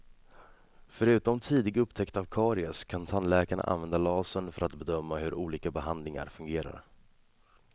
Förutom tidig upptäckt av karies kan tandläkarna använda lasern för att bedöma hur olika behandlingar fungerar.